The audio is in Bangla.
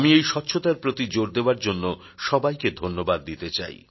আমি এই স্বচ্ছতার প্রতি জোর দেওয়ার জন্য সবাইকে ধন্যবাদ দিতে চাই